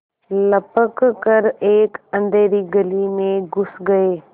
लपक कर एक अँधेरी गली में घुस गये